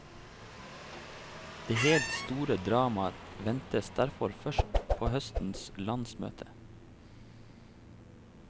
Det helt store dramaet ventes derfor først på høstens landsmøte.